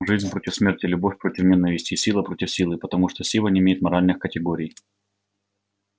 жизнь против смерти любовь против ненависти и сила против силы потому что сила не имеет моральных категорий